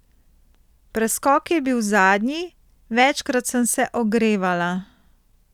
Preskok je bil zadnji, večkrat sem se ogrevala.